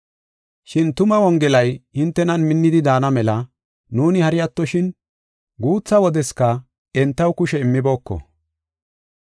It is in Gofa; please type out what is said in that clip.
Shin tuma Wongelay hintenan minnidi daana mela nuuni hari attoshin, guutha wodeska entaw kushe immibooko.